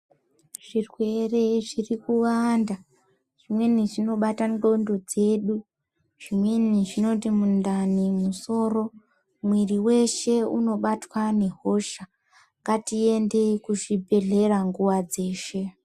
Zvirwere zviri kuwanda zvimweni zvinobata nxondo dzedu zvimweni zvinoti mundani ,musoro mwiri weshe unobatwa ngehosha ngatiende kuzvibhedhlera nguwa dzeshe.